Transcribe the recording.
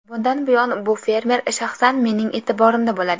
Bundan buyon bu fermer shaxsan mening e’tiborimda bo‘ladi.